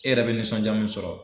E yɛrɛ be nisɔnja min sɔrɔ